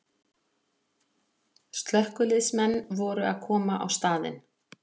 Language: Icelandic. Slökkviliðsmenn voru að koma á staðinn